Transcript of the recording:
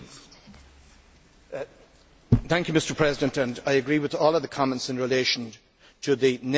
Mr President, I agree with all of the comments in relation to the negative impact of this particular measure.